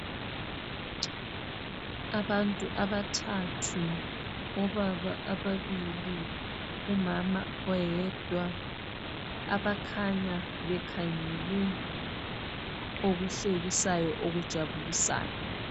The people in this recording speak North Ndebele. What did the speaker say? Abantu abathathu obaba ababili umama oyedwa abakhanya bekhangele okuhlekisayo okujabulisayo.